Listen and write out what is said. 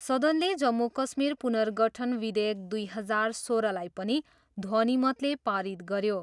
सदनले जम्मू कश्मीर पुर्नगठन विधेयक दुई हजार सोह्रलाई पनि ध्वनिमतले पारित गऱ्यो।